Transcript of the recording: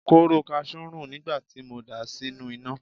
Kóóró kasú ń rùn nígbà tí mo dà á sínú iná.